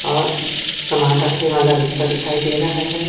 और सामान रखने वाला रिक्शा दिखाई दे रहा है।